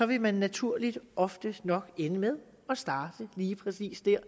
vil man naturligt oftest nok ende med at starte lige præcis der